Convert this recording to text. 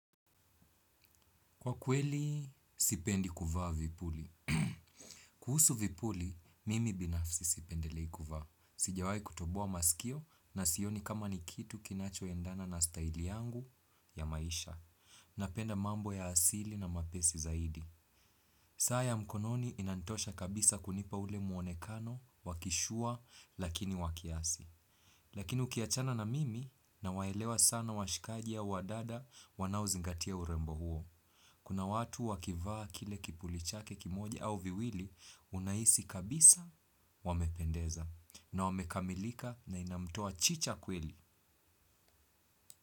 Kwa kweli, sipendi kuvaa vipuli. Kuhusu vipuli, mimi binafsi sipendelei kuvaa. Sijawai kutoboa masikio na sioni kama ni kitu kinacho endana na staili yangu ya maisha. Napenda mambo ya asili na mapesi zaidi. Saa ya mkononi inanitosha kabisa kunipa ule muonekano, wa kishua, lakini wa kiasi. Lakini uki achana na mimi nawaelewa sana washikajia, au wadada, wanaozingatia urembo huo. Kuna watu wakivaa kile kipuli chake kimoja au viwili unahisi kabisa wamependeza na wamekamilika na inamtoa chicha kweli.